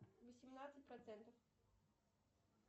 восемнадцать процентов